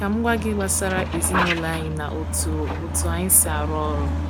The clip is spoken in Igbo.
Ka m gwa gị gbasara ezinụlọ anyị na otu otu anyị si arụ ọrụ.